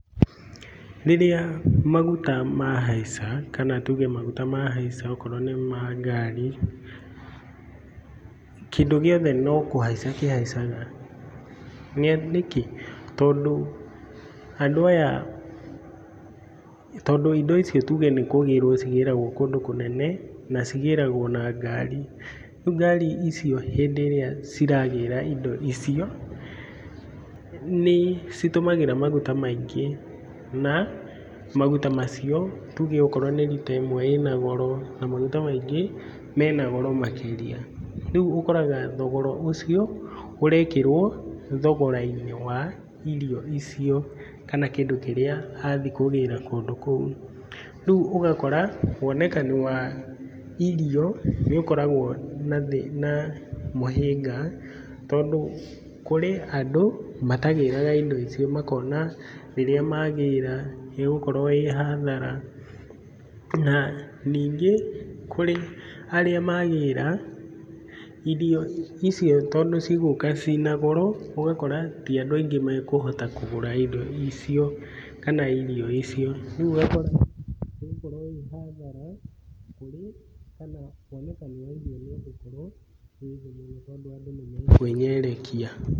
Rĩrĩa maguta mahaica kana tuge maguta mahaica okorwo nĩ ma ngari, kĩndũ gĩothe no kũhaica kĩhaicaga, nĩkĩ, tondũ andũ aya, tondũ indo icio tuge nĩ kũgĩrwo cigĩragwo kũndũ kũnene na cigĩragwo na ngari, rĩu ngari icio hĩndĩ ĩrĩa ciragĩra indo icio, nĩ citũmagĩra maguta maingĩ na maguta macio tuge okorwo nĩ rita ĩmwe ĩna goro na maguta maingĩ mena goro makĩria, rĩu ũkoraga thogora ũcio, ũrekĩrwo thogora-inĩ wa irio icio kana kĩndũ kĩrĩa athiĩ kũgĩra kũndũ kou, rĩu ũgakora wonekani wa irio nĩ ũkoragwo na mũhĩnga tondũ kũrĩ andũ matagĩraga indo icio makona rĩrĩa magĩra ĩgũkorwo ĩ hathara na ningĩ kũrĩ arĩa magĩra, irio icio tondũ cigũka ciĩna goro, ũgakora ti andũ aingĩ mekũhota kũgũra indo icio. kana irio icio, ríu ũgakora ĩgũkorwo ĩ hathara kũrĩ kana wonekani wa irio nĩ ũgũkorwo wĩ thĩ mũno tondũ andũ nĩ mekwĩnyerekia.